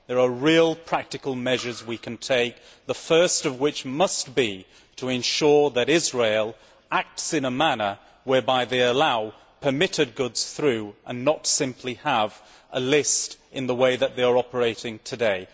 There are real practical measures we can take, the first of which must be to ensure that Israel acts in a manner whereby it allows permitted goods through and not simply have a list in the way that they are operating today.